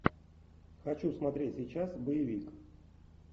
хочу смотреть сейчас боевик